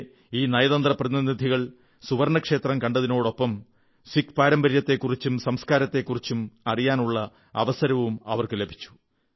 അവിടെ ഈ നയതന്ത്ര പ്രതിനിനിധികൾക്ക് സുവർണ്ണക്ഷേത്ര സന്ദർശനത്തിനൊപ്പം സിഖ് പാരമ്പര്യത്തെക്കുറിച്ചും സംസ്കാരത്തെക്കുറിച്ചും അറിയാനുള്ള അവസരവും ലഭിച്ചു